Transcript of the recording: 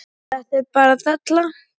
Þetta er bara della.